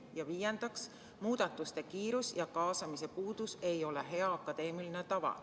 Ja viiendaks, muudatuste kiirus ja kaasamise puudumine ei ole hea akadeemiline tava.